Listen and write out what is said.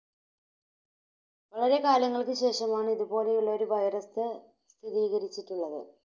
വളരെ കാലങ്ങൾക്കു ശേഷമാണ് ഇതുപോലെയുള്ള ഒരു Virus സ്ഥിരീകരിച്ചിട്ടുള്ളത്.